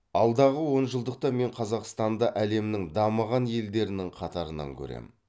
алдағы онжылдықта мен қазақстанды әлемнің дамыған елдерінің қатарынан көрем